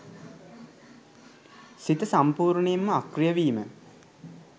සිත සම්පූර්ණයෙන්ම අක්‍රීය වීම.